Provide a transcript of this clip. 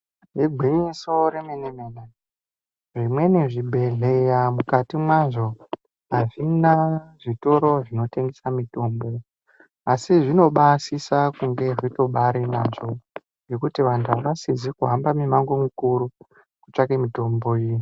Igwinyiso re mene mene zvimweni zvi bhehleya mukati mazvo azvina zvitoro zvino tengesa mitombo asi zvinobai sisa kunge zvitobairi nazvo ngekuti vandu vasizi kuhamba ngepa kuru kuru ku tsvake mitombo iyi .